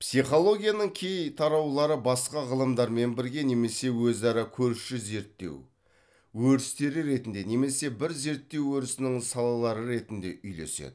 психологияның кей тараулары басқа ғылымдармен бірге немесе өзара көрші зерттеу өрістері ретінде немесе бір зерттеу өрісінің салалары ретінде үйлеседі